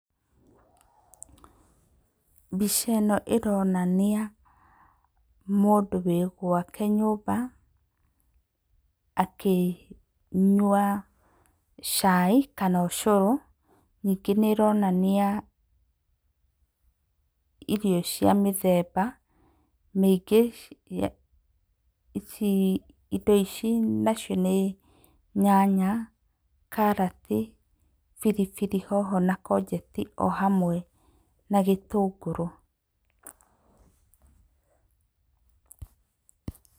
Mbica ĩno ĩronania mũndũ wĩ gwake nyũmba akĩnyua cai kana ũcũrũ. Ningĩ nĩ ĩronania irio cia mĩthemba mĩingĩ, indo ici nacio nĩ nyanya, karati, biribiri hoho na courgetti o hamwe na gĩtũngũrũ.